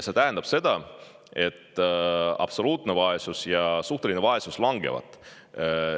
See tähendab, et absoluutne ja suhteline vaesus langevad.